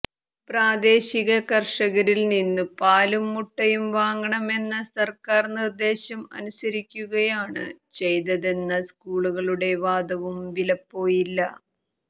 പ്രാദേശിക കർഷകരിൽ നിന്നും പാലും മുട്ടയും വാങ്ങണമെന്ന സർക്കാർ നിർദ്ദേശം അനുസരിക്കുകയാണ് ചെയ്തെന്ന സ്കൂളുകളുടെ വാദവും വിലപ്പോയില്ല